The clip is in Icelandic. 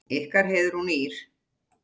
Ykkar Heiðrún Ýrr.